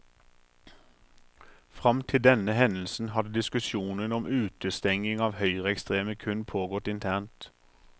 Frem til denne hendelsen hadde diskusjonen om utestenging av høyreekstreme kun pågått internt.